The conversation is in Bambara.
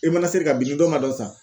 E mana seri ka bin ni dɔ man dɔ san